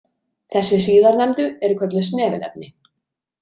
Þessi síðarnefndu eru kölluð snefilefni.